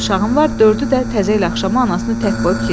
Dörd uşağım var, dördü də təzəlikcə axşam anasını tək qoyub gedir.